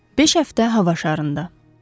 Beş həftə hava şarında.